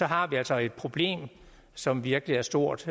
har vi altså et problem som virkelig er stort